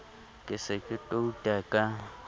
ke se ke touta ka